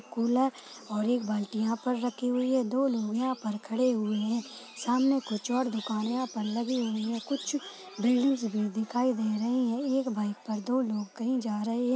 Cooler और एक बाल्टी यहाँ पर रखी हुई है। दो लोग यहाँ पर खड़े हुए हैं सामने कुछ और दुकान यहाँ पर लगी हुई हैं। कुछ बिल्डिंगस भी दिखाई दे रही हैं एक बाइक पर दो लोग कहीं जा रहे हैं।